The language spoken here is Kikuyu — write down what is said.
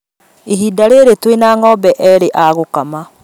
Ihinda rĩrĩ twĩna ng'ombe erĩ a gũkama